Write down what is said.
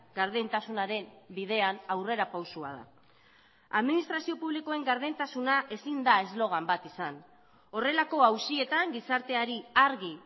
gardentasunaren bidean aurrerapausoa da administrazio publikoen gardentasuna ezin da eslogan bat izan horrelako auzietan gizarteari argi